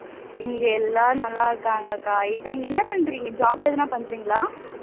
இங்க எல்லாரும் நல்லா இருக்காங்க அக்கா இப்போ நீங்க என்ன பண்றீங்க job எதனா பண்றீங்களா